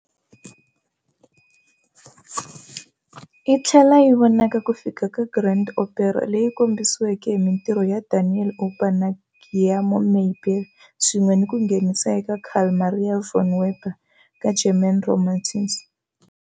Yi tlhele yi vona ku fika ka grand opera leyi kombisiweke hi mintirho ya Daniel Auber na Giacomo Meyerbeer swin'we ni ku nghenisa ka Carl Maria von Weber ka German Romantische Oper, German Romantic Opera.